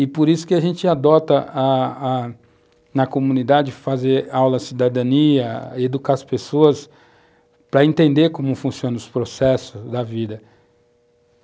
E por isso que a gente adota, a a na comunidade, fazer aulas de cidadania, educar as pessoas para entender como funcionam os processos da vida.